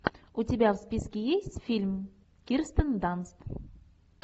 у тебя в списке есть фильм кирстен данст